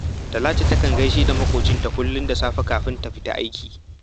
Talatu takan gai da maƙocinta kullum da safe kafin ta fita aiki